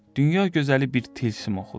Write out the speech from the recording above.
Dünya gözəli bir tilsim oxudu.